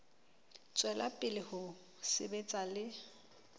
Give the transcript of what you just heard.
tswela pele ho sebetsa le